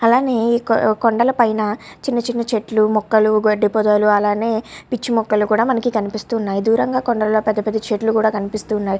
అలానే ఇక్కడ కొండల పైన చిన్న చిన్న చెట్లు మొక్కలు గడ్డి పొదలు అలానే పిచ్చి మొక్కలు కూడా మనకి కనిపిస్తు ఉన్నాయ్ దూరంగా కొండలో పెద్ద పెద్ద చెట్లు కూడ కనిపిస్తు ఉన్నాయ్.